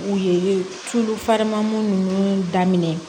U ye tulu fariman ninnu daminɛ